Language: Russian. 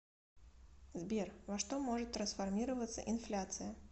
сбер во что может трансформироваться инфляция